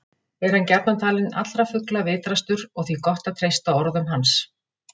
Er hann gjarnan talinn allra fugla vitrastur og því gott að treysta orðum hans.